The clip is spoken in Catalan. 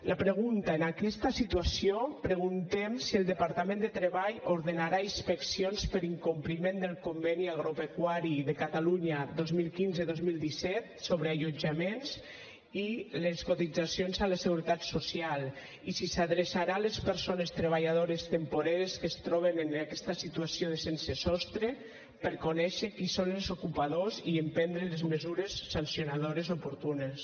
la pregunta en aquesta situació preguntem si el departament de treball ordenarà inspeccions per incompliment del conveni agropecuari de catalunya dos mil quinze dos mil disset sobre allotjaments i cotitzacions a la seguretat social i si s’adreçarà a les persones treballadores temporeres que es troben en aquesta situació de sense sostre per conèixer qui són els ocupadors i emprendre les mesures sancionadores oportunes